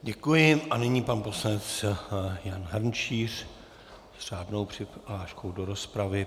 Děkuji a nyní pan poslanec Jan Hrnčíř s řádnou přihláškou do rozpravy.